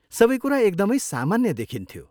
सबै कुरा एकदमै सामान्य देखिन्थ्यो।